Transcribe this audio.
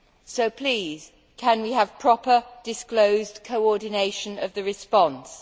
So please can we have proper disclosed coordination of the response?